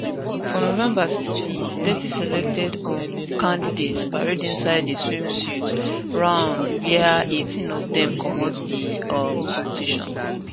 for november 16 thirty selected um candidates parade inside a swimsuit round wia 18 of dem comot di um competition